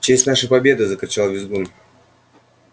в честь нашей победы закричал визгун